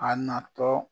A natɔ